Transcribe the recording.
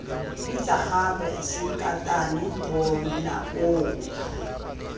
bitsa gape sankatane bona koo